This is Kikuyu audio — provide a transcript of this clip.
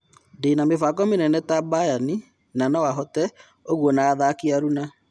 Ndĩna mĩbango mĩnene, ta-Bayani, na no-hote ũguo na-athaki aruna.